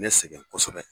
Ne sɛgɛn kosɛbɛ